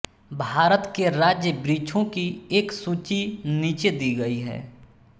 भारत के राज्य वृक्षों की एक सूची नीचे दी गई है